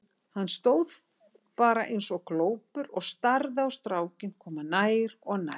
Hann stóð bara eins og glópur og starði á strákinn koma nær og nær.